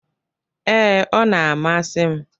Ee, ọ na-amasi m.